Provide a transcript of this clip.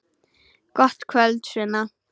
Gott kvöld, Sunna.